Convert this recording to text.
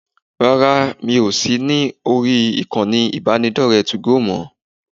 Rárá, mi ò sì lórí ìkànnì ìbánidọ́rẹ̀ẹ́ 2go mọ́